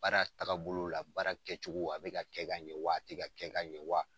Baara tagabolo la, baara kɛcogo a be ka kɛ ka ɲɛ wa, a te ka kɛ ka ɲɛ wa?